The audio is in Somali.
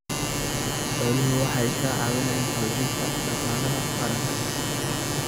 Xooluhu waxay ka caawiyaan xoojinta dhaqaalaha qaranka.